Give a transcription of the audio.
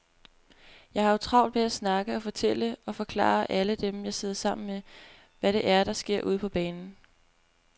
Jeg har jo travlt med at snakke og fortælle og forklare alle dem, jeg sidder sammen med, hvad det er, der sker ude på banen.